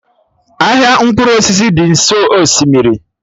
Ahịa mkpụrụ osisi dị nso osimiri